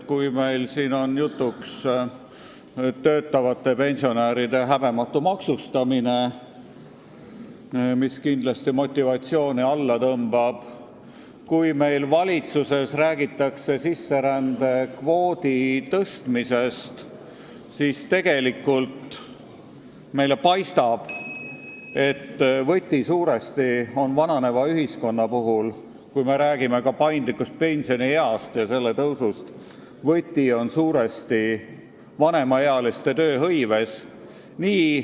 Kui meil on jutuks töötavate pensionäride häbematu maksustamine, mis kindlasti töötamise motivatsiooni alla tõmbab, ja kui valitsuses räägitakse sisserände kvoodi suurendamisest, siis meile paistab, et vananeva ühiskonna puhul, kui me räägime ka paindlikust pensionieast ja selle tõusust, on võti vanemaealiste tööhõives.